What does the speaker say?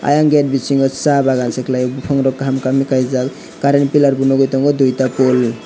ayang gate bisingo sa bagan se kelai yo bopang rok kaham kaham ke kaijak current piller bo nogoi tongo dui ta pull.